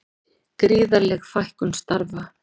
Gríðarleg fækkun starfa